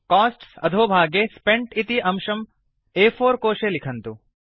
costs अधोभागे spent इति अंशं अ4 कोशे लिखन्तु